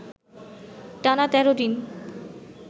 টানা ১৩ দিন